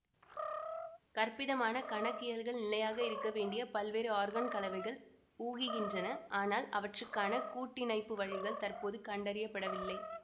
கற்பிதமான கணக்கியல்கள் நிலையாக இருக்கவேண்டிய பல்வேறு ஆர்கான் கலவைகளை ஊகிக்கின்றன ஆனால் அவற்றுக்கான கூட்டிணைப்பு வழிகள் தற்போது கண்டறியப்படவில்லை